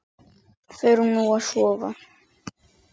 Förum nú að sofa.